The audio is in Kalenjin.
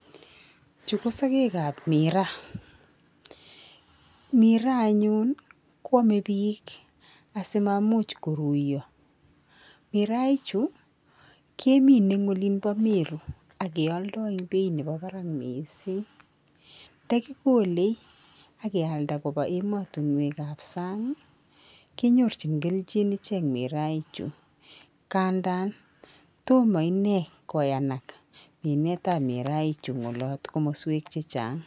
Chuu ko sokek ab ,miiraa anyun koome bik asimaimuch koruyoo miraa ichu kemine en olii bo meruu ak keoldoo en beit nemii barak missing nda kikole ak kealda koba emotinwek ab sang kenyorjin keljinichek miraa ichuu ngandan tomo inei koyanak minet ab miraa ichuu ngolot komoswek che chang.